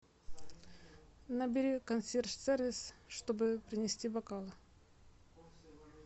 набери консьерж сервис чтобы принести бокалы